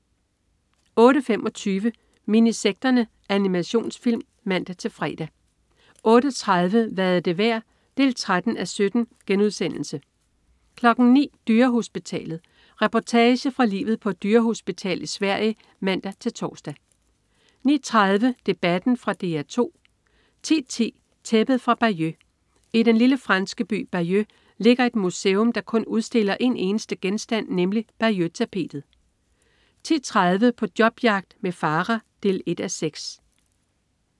08.25 Minisekterne. Animationsfilm (man-fre) 08.30 Hvad er det værd? 13:17* 09.00 Dyrehospitalet. Reportage fra livet på et dyrehospital i Sverige (man-tors) 09.30 Debatten. Fra DR 2 10.10 Tæppet fra Bayeux. I den lille franske by Bayeux ligger et museum, der kun udstiller en eneste genstand, nemlig Bayeux-tapetet 10.30 På jobjagt med Farah 1:6